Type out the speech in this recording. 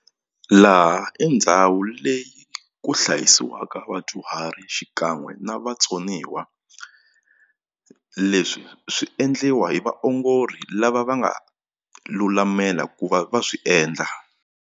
Laha e ndhawu leyi ku hlayisiwaka vadyuhari xikan'we na vatsoniwa leswi swi endliwa hi vaongori lava va nga lulamela ku va va swi endla.